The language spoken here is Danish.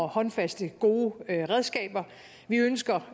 håndfaste og gode redskaber vi ønsker